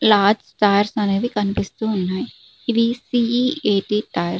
Large tyres అనేవి కనిపిస్తూ ఉన్నాయి ఇవి C E A T tyres .